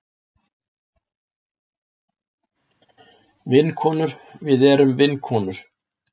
Vinkonur við erum vinkonur.